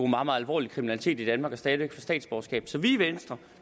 meget alvorlig kriminalitet i danmark og stadig væk få statsborgerskab så i venstre